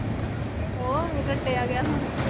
ਹੋਰ ਰਟਿਆ ਗਿਆ ਹੁਣ